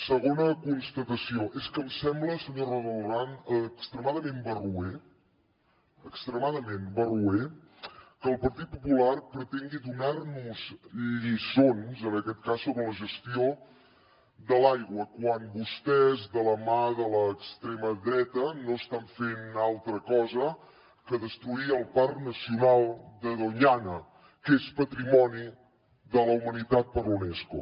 segona constatació és que em sembla senyora roldán extremadament barroer extremadament barroer que el partit popular pretengui donar nos lliçons en aquest cas sobre la gestió de l’aigua quan vostès de la mà de l’extrema dreta no estan fent altra cosa que destruir el parc nacional de doñana que és patrimoni de la humanitat per la unesco